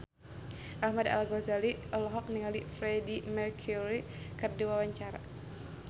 Ahmad Al-Ghazali olohok ningali Freedie Mercury keur diwawancara